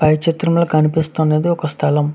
పై చిత్రం లో కనిపిస్తున్నది ఒక స్తలము.